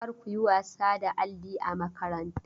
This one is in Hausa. Kar ku yi wasa da alli a makaranta!